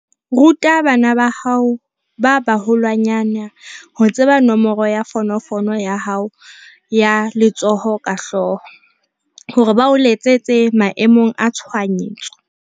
Ruta bana ba hao ba baholwanyane ho tseba nomoro ya fonofono ya hao ya letsoho ka hlooho, hore ba o letsetse maemong a tshohanyetso.